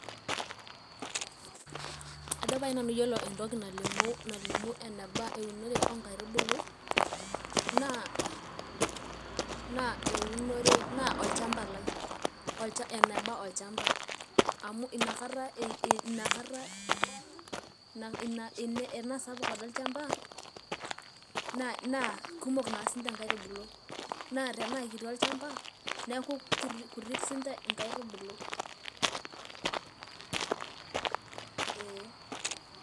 Ajo pae nanu yiolo entoki nalimu eneba eunore oonkaitubulu naa olchamba lai, eneba olchamba amu inkata enaa sapuk ade olchamba naa kumok sininche inkaitubbulu naa tenaa kiti olchamba neku kutik inkaitubulu.